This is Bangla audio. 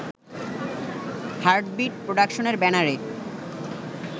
হার্টবিট প্রোডাকশনের ব্যানারে